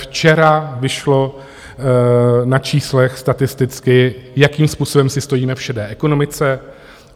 Včera vyšlo na číslech statisticky, jakým způsobem si stojíme v šedé ekonomice.